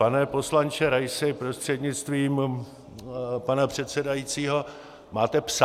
Pane poslanče Raisi prostřednictvím pana předsedajícího, máte psa?